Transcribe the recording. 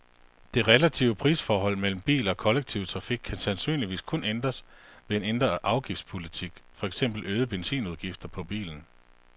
Det relative prisforhold mellem bil og kollektiv trafik kan sandsynligvis kun ændres ved en ændret afgiftspolitik, for eksempel øgede benzinudgifter, på bilen.